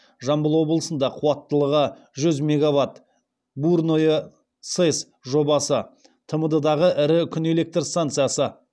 жамбыл облысында қуаттылығы жүз мега ватт бурное сэс жобасы тмд дағы ірі күн электр станциясы